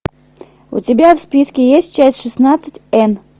у тебя в списке есть часть шестнадцать энн